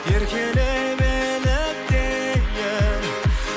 еркелеп еліктейін